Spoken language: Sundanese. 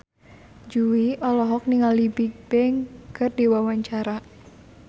Jui olohok ningali Bigbang keur diwawancara